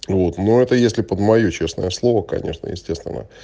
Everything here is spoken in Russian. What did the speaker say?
вот ну это если под моё честное слово конечно естественно